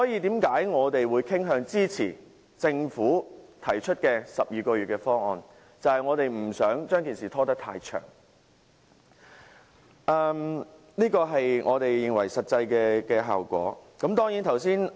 因此，我們傾向支持政府提出的12個月的方案，就是不想把事情拖延太久，以求達至我們想得到的實際效果。